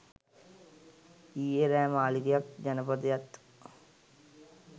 ඊයෙ රෑ මාළිගයත් ජනපදයත්